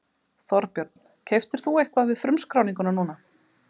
Þorbjörn: Keyptir þú eitthvað við frumskráninguna núna?